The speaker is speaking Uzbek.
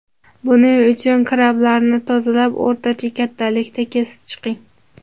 Buning uchun krablarni tozalab, o‘rtacha kattalikda kesib chiqing.